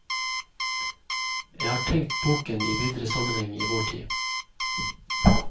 Jeg har tenkt boken i videre sammenheng i vår tid.